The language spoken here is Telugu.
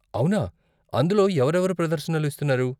అవునా, అందులో ఎవరెవరు ప్రదర్శనలు ఇస్తున్నారు?